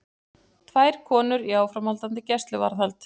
Tvær konur í áframhaldandi gæsluvarðhald